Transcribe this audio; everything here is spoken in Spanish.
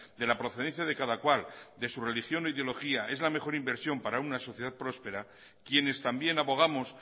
de la procedencia de cada cual de su religión o ideología es la mejor inversión para una sociedad próspera quienes también abogamos